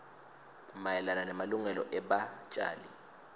mayelana nemalungelo ebatjali